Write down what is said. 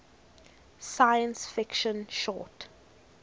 science fiction short